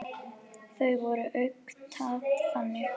Það var akkúrat þannig.